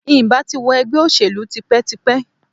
Ǹ bà ti wo ègbé òṣèlú yi tipétipé